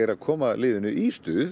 að koma liðinu í stuð